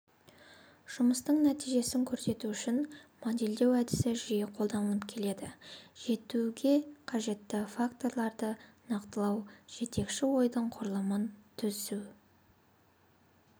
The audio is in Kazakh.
жұмыстың нәтижесін көрсету үшін модельдеу әдісі жиі қолданылып келеді жетуге қажетті факторларды нақтылау жетекші ойдың құрылымын түзу